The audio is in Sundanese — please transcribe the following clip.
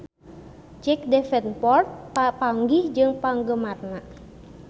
Jack Davenport papanggih jeung penggemarna